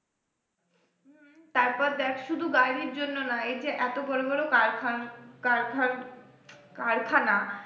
তারপর দেখ শুধু গাড়ির জন্য না এই যে এত বড় বড় কারখান কারখানকারখানা